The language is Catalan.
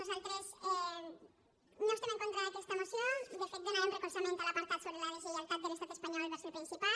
nosaltres no estem en contra d’aquesta moció de fet donarem recolzament a l’apartat sobre la deslleialtat de l’estat espanyol vers el principat